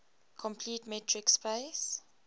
complete metric space